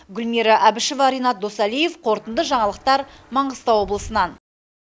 гүлмира әбішева ренат досалиев қорытынды жаңалықтар маңғыстау облысынан